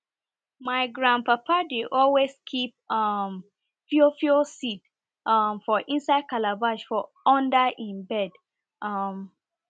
my grandpapa dey always keep um fiofio seed um for inside calabash for under e bed